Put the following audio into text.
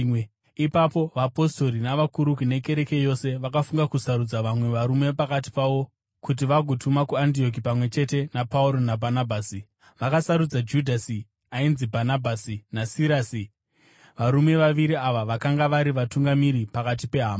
Ipapo vapostori navakuru, nekereke yose, vakafunga kusarudza vamwe varume pakati pavo kuti vagovatuma kuAndioki pamwe chete naPauro naBhanabhasi. Vakasarudza Judhasi (ainzi Bhanabhasi) naSirasi, varume vaviri ava vakanga vari vatungamiri pakati pehama.